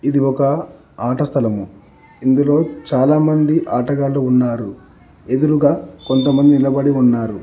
ఇది ఒక ఆట స్థలము ఇందులో చాలామంది ఆటగాళ్లు ఉన్నారు ఎదురుగా కొంతమంది నిలబడి ఉన్నారు.